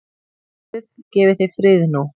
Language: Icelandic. Guð gefi þér frið nú.